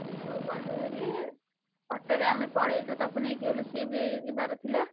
ସେଇଠୁ ଗଲୁ ଭାରି auto ରେ ଆମେ ପଳେଇଲୁ ତାକୁ ନେଇକି ଗଲୁ ସିଏ ବି ଯିବାର ଥିଲା।